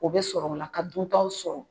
O bɛ sɔrɔ o la ka duntaw sɔrɔ